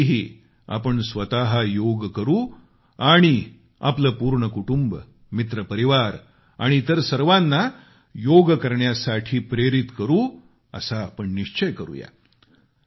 यावर्षीही आपण स्वतः योग करू आणि आपले पूर्ण कुटुंब मित्रपरिवार आणि इतर सर्वांना योग करण्यासाठी प्रेरित करू असा आपण निश्चय करुया